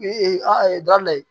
Ee a da la